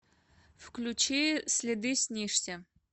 включи следы снишься